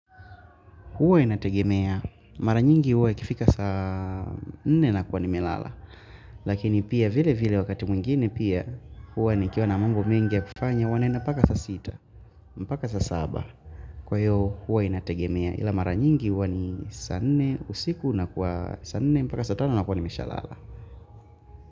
Huwa inategemea. Mara nyingi huwa ikifika saa 4 na kuwa ni melala. Lakini pia vile vile wakati mwingine pia huwa nikiwa na mambo mengi ya kufanya huwa naenda paka sa 6, mpaka sa 7. Kwa hiyo huwa inategemea ila mara nyingi huwa ni saa 4, usiku na kwa saa 4, mpaka saa 5 na kuwa ni meshalala.